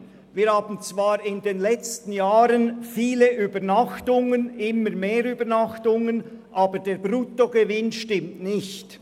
Wir hatten zwar in den letzten Jahren viele und immer mehr Übernachtungen, aber der Bruttogewinn stimmt nicht.